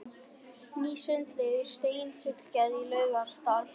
Ný sundlaug úr steini fullgerð í Laugardal í